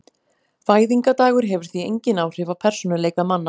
Fæðingardagur hefur því engin áhrif á persónuleika manna.